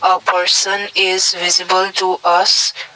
a person is visible to us.